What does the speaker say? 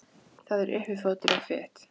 Það er uppi fótur og fit.